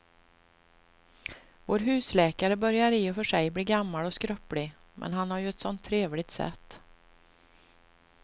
Vår husläkare börjar i och för sig bli gammal och skröplig, men han har ju ett sådant trevligt sätt!